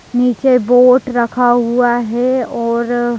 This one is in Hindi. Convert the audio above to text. नीचे बोट रखा हुआ है और--